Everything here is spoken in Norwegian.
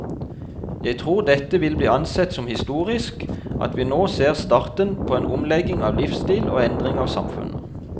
Jeg tror dette vil bli ansett som historisk, at vi nå ser starten på en omlegging av livsstil og endring av samfunnet.